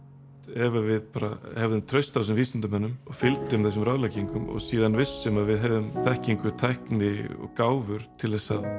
ef að við bara hefðum traust á þessum vísindamönnum og fylgjum þessum ráðleggingum og síðan vissum að við hefðum þekkingu tækni og gáfur til þess að